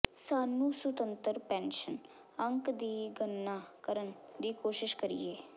ਸਾਨੂੰ ਸੁਤੰਤਰ ਪੈਨਸ਼ਨ ਅੰਕ ਦੀ ਗਣਨਾ ਕਰਨ ਦੀ ਕੋਸ਼ਿਸ਼ ਕਰੀਏ